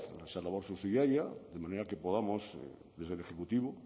esa labor subsidiaria de manera que podamos desde el ejecutivo